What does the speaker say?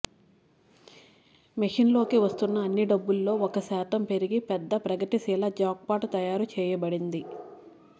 మెషిన్లోకి వస్తున్న అన్ని డబ్బులో ఒక శాతం పెరిగి పెద్ద ప్రగతిశీల జాక్పాట్ తయారు చేయబడింది